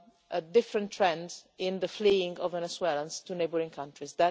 a different trend in the fleeing of Venezuelans to neighbouring countries.